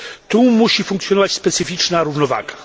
Tu musi funkcjonować specyficzna równowaga.